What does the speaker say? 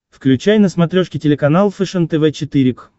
включай на смотрешке телеканал фэшен тв четыре к